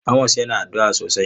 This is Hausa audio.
Amos yana addu'a sosai.